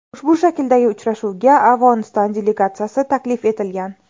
Ushbu shakldagi uchrashuvga Afg‘oniston delegatsiyasi taklif etilgan.